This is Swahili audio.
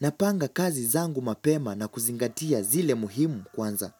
Napanga kazi zangu mapema na kuzingatia zile muhimu kwanza.